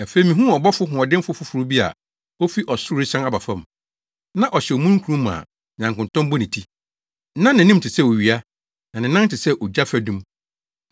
Afei mihuu ɔbɔfo hoɔdenfo foforo bi a ofi ɔsoro resian aba fam. Na ɔhyɛ omununkum mu a nyankontɔn bɔ ne ti. Na nʼanim te sɛ owia, na ne nan te sɛ ogya fadum.